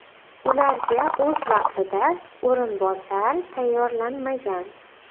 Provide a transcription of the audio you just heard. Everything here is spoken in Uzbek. Ularga esa o‘z vaqtida o‘rinbosar tayyorlanmagan.